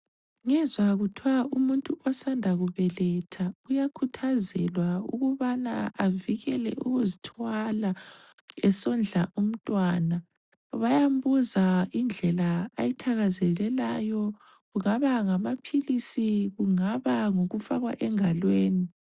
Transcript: Ngezwa kuthwa umuntu osanda kubeletha uyakhuthazelwa ukubana avikele ukuzithwala esondla umntwana, bayambuza indlela ayithakazelelayo kungaba ngamaphilisi, kungaba ngokufakwa engalweni.